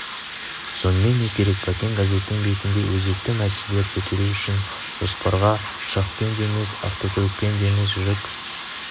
сонымен не керек бәкең газеттің бетінде өзекті мәселелер көтеру үшін жолсапарға ұшақпен де емес автокөлікпен де емес жүк